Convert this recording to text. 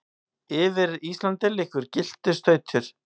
yfir Íslandi liggur gylltur stautur.